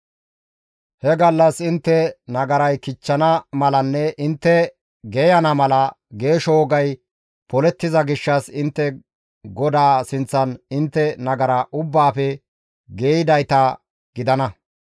He gallas intte nagaray kichchana malanne intte geeyana mala geesho wogay polettiza gishshas intte GODAA sinththan intte nagara ubbaafe geeyidayta gidana.